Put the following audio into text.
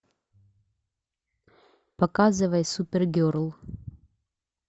показывай супергерл